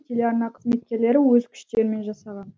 телеарна қызметкерлері өз күштерімен жасаған